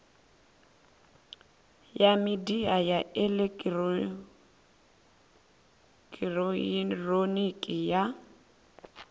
ya midia ya elekihironiki ya